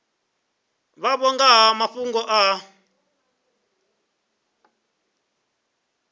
vhavho nga ha mafhungo a